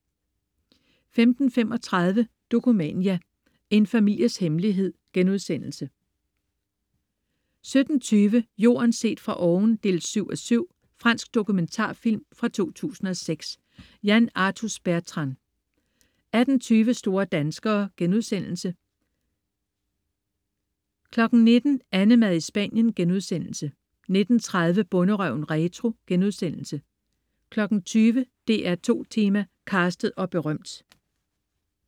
15.35 Dokumania: En families hemmelighed* 17.20 Jorden set fra oven 7:7. Fransk dokumentarfilm fra 2006. Yann Arthus-Bertrand 18.20 Store danskere* 19.00 AnneMad i Spanien* 19.30 Bonderøven retro* 20.00 DR2 Tema: Castet og berømt